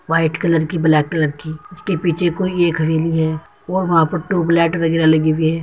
white colour की black colour की उसके पीछे कोई एक हवेली है वो वहाँ पर ट्यूबलाइट लगी हुई है |